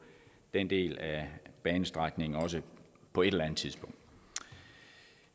den del af banestrækningen også på et eller tidspunkt